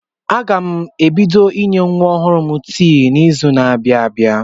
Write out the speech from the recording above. Aga m ebido inye nwa ọhụrụ m tii n'izu na-abịa abịa.